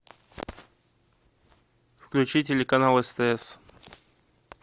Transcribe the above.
включи телеканал стс